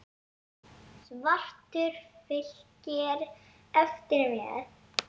Svartur fylgir eftir með.